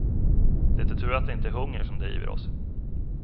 Det är tur att det inte är hungern som driver oss.